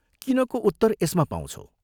किनको उत्तर यसमा पाउँछौ।